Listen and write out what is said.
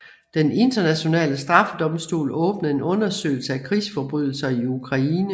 Den Internationale Straffedomstol åbnede en undersøgelse af krigsforbrydelser i Ukraine